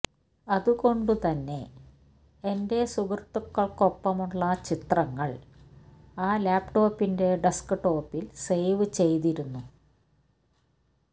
അതുകൊണ്ടു തന്നെ എന്റെ സുഹൃത്തുക്കൾക്കൊപ്പമുള്ള ചിത്രങ്ങൾ ആ ലാപ്ടോപ്പിന്റെ ഡെസ്ക്ടോപ്പിൽ സേവ് ചെയ്തിരുന്നു